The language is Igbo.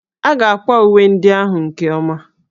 A ga-akwa uwe ndị ahụ nke ọma